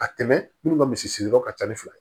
A tɛmɛ minnu ka misi siri yɔrɔ ka ca ni fila ye